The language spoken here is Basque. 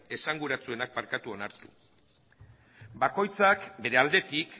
esanguratsuenak onartu bakoitzak bere aldetik